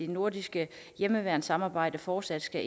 nordiske hjemmeværnsamarbejde fortsat skal